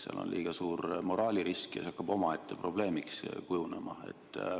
Seal on liiga suur moraalirisk ja see hakkab omaette probleemiks kujunema.